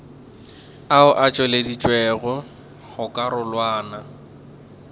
ao a tšweleditšwego go karolwana